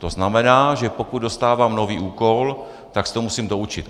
To znamená, že pokud dostávám nový úkol, tak se to musím doučit."